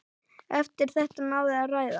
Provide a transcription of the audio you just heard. Eftir þetta náði ræða